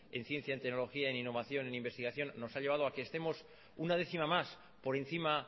en ciencia tecnología e innovación en investigación nos ha llevado a que estemos una décima más por encima